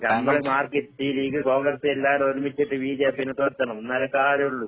ഈ ലീഗ്, കോൺഗ്രസ് എല്ലാരും ഒരുമിച്ചിട്ട് ബിജെപിനെ തൊരത്തണം, എന്നാലേ കാര്യോള്ളൂ.